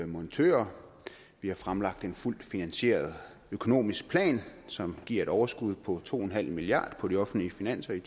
montører vi har fremlagt en fuldt finansieret økonomisk plan som giver et overskud på to milliard kroner på de offentlige finanser i